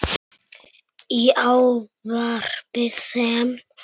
Í ávarpi sem